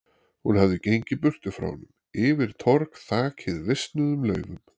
Hún hafði gengið burtu frá honum, yfir torg þakið visnuðum laufum.